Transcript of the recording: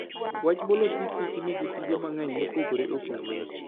Wach molos gi Kich nigi tije mang'eny mopogore opogore.